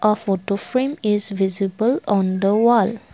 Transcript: a photo frame is visible on the wall.